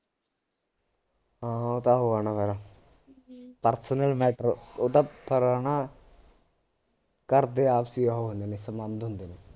ਹਾਂ ਉਹ ਤਾਂ ਉਹ ਆ ਨਾ ਫਿਰ personal matter ਉਹ ਤਾਂ ਫਿਰ ਹੈ ਨਾ ਘਰਦੇ ਆਪਸੀ ਉਹ ਹੁੰਦੇ ਨੇ ਸੰਬੰਧ ਹੁੰਦੇ ਨੇ